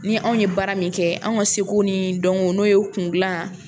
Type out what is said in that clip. Ni anw ye baara min kɛ anw ka seko ni dɔnko n'o ye kundilan